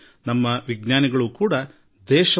ಈ ಸುದ್ದಿಯೊಂದೇ ಉತ್ಸಾಹದೊಂದಿಗೆ ನಮ್ಮನ್ನು ಬದಲಾಯಿಸುತ್ತದೆ